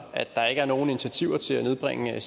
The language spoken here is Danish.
at der ikke er nogen initiativer til at nedbringe